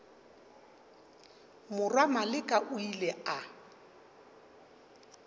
morwa maleka o ile a